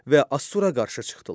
Və Assura qarşı çıxdılar.